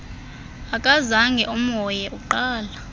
akazange amhoye uqala